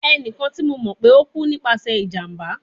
Ẹnikan ti mo mọ pe o ku nipasẹ ijamba